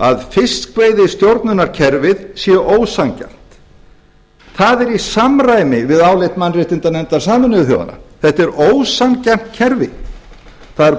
að fiskveiðistjórnarkerfið sé ósanngjarnt það er í samræmi i við álit mannréttindanefndar sameinuðu þjóðanna þetta er ósanngjarnt kerfi það er